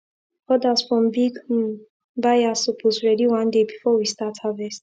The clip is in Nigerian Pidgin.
orders from big um buyers suppose ready one day before we start harvest